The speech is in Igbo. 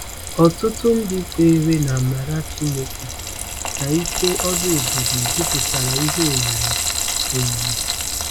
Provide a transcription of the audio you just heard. Ọtụtụ ndị kweere na amara Chineke na ike ọrụ ebube jupụtara ihe oyiyi oyiyi.